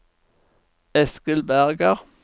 Eskil Berger